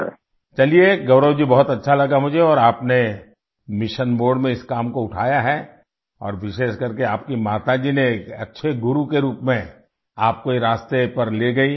چلئے گورو جی، بہت اچھا لگا مجھے اور آپ نے مشن موڈ میں اس کام کو اٹھایا ہے اور خاص کر آپ کی ماتا جی ایک اچھے گرو کے طور پر آپ کو اس راستے پر لے گئیں